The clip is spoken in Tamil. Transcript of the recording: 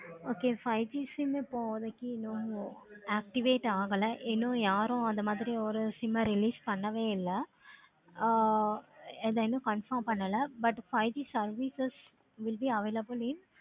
okay five G sim ஏ இப்போதைக்கு no no activate ஆகல இன்னு யாரு அந்த மாதிரி ஒரு sim ஆஹ் release பண்ணவும் இல்ல. ஆஹ் இத இன்னும் confirm பண்ணலா. but five G services will be available in